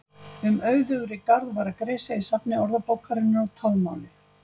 Um auðugri garð var gresja í safni Orðabókarinnar úr talmáli.